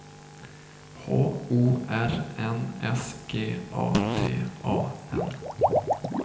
H O R N S G A T A N